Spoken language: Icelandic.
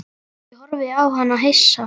Ég horfði á hann hissa.